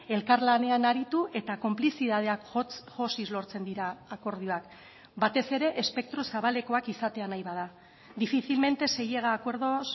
elkarlanean aritu eta konplizitateak josiz lortzen dira akordioak batez ere espektro zabalekoak izatea nahi bada difícilmente se llega a acuerdos